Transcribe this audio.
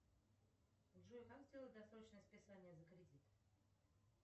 джой как сделать досрочное списание за кредит